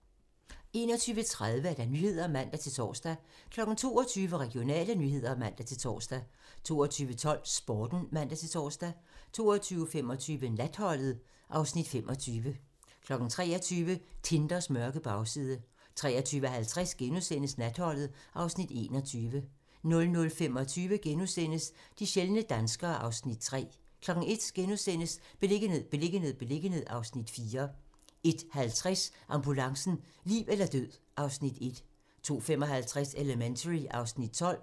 21:30: Nyhederne (man-tor) 22:00: Regionale nyheder (man-tor) 22:12: Sporten (man-tor) 22:25: Natholdet (Afs. 25) 23:00: Tinders mørke bagside 23:50: Natholdet (Afs. 21)* 00:25: De sjældne danskere (Afs. 3)* 01:00: Beliggenhed, beliggenhed, beliggenhed (Afs. 4)* 01:50: Ambulancen - liv eller død (Afs. 1) 02:55: Elementary (Afs. 12)